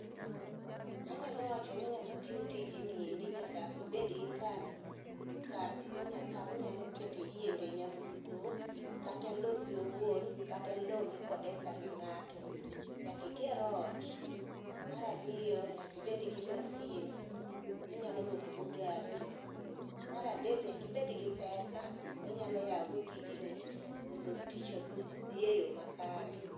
Anyalo wachoni ngama tiyo tijni nyaka ibedgi kama inyalo kete, iyienge nyamburko. Kata lopi owuon kata lo mikodesa gi ngato, nyaka iger ot. Mar ariyo nyaka obed gi masin minyalo luoko go gari. Mar adek nyaka ibed gi pesa minyalo yao go tijni mondo tich odhi e yoo makare.